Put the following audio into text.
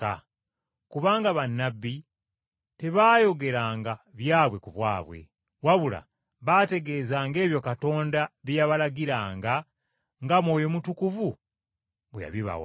Kubanga bannabbi tebaayogeranga byabwe ku bwabwe, wabula baategeezanga ebyo Katonda bye yabalagiranga nga Mwoyo Mutukuvu bwe yabibawanga.